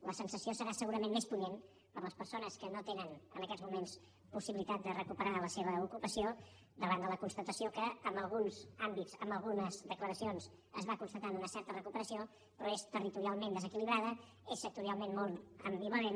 la sensació serà segurament més punyent per a les persones que no tenen en aquests moments possibilitat de recuperar la seva ocupació davant de la constatació que en alguns àmbits en algunes declaracions es va constatant una certa recuperació però és territorialment desequilibrada és sectorialment molt ambivalent